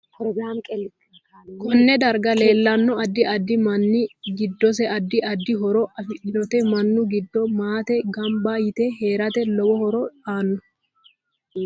Konne darga leelanno addi add minna giddose addi addi horo afidhinote minu giddo maate ganba yite heerate lowo horo aano